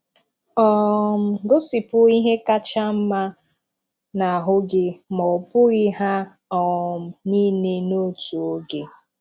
um Gosịpụ ihè káchà mmà n’àhụ́ gị̄, mà ọ̀ bùghị̀ hà um níilè n’òtù ogē